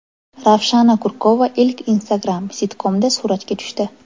Ravshana Kurkova ilk Instagram-sitkomda suratga tushdi.